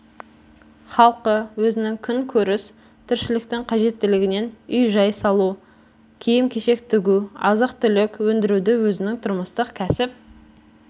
халқы өзінің күн көріс тіршіліктің қажеттілігінен үй-жай салу киім-кешек тігу азық түлік өндіруді өзінің тұрмыстық кәсіп